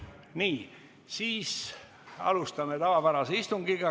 Nii, siis alustame tavapärast istungit.